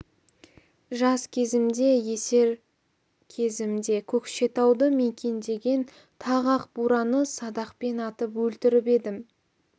жас кезімде есер кезімде көкшетауды мекендеген тағы ақ бураны садақпен атып өлтіріп едім